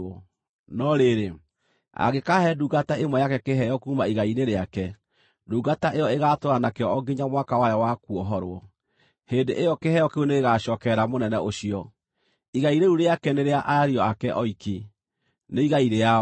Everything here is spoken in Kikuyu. No rĩrĩ, angĩkaahe ndungata ĩmwe yake kĩheo kuuma igai-inĩ rĩake, ndungata ĩyo ĩgaatũũra nakĩo o nginya mwaka wayo wa kuohorwo; hĩndĩ ĩyo kĩheo kĩu nĩgĩgacookerera mũnene ũcio. Igai rĩu rĩake nĩ rĩa ariũ ake oiki; nĩ igai rĩao.